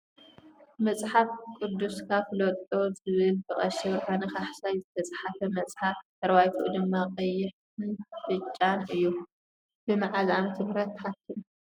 መፅሓፍ ቁድስካ ፍለጦ ዝብል ብ ቀሺ ብርሃነ ካሕሳይ ዝትፀሓፈ መፅሓፍ ድሕረባትኡ ድማ ቀይሕ ን ብ ጫን እዩ ። ብ መዓዘ ዓ/ም ተሓቲሙ ?